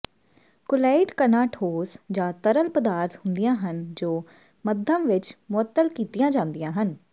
colloid ਕਣਾਂ ਠੋਸ ਜਾਂ ਤਰਲ ਪਦਾਰਥ ਹੁੰਦੀਆਂ ਹਨ ਜੋ ਮੱਧਮ ਵਿੱਚ ਮੁਅੱਤਲ ਕੀਤੀਆਂ ਜਾਂਦੀਆਂ ਹਨ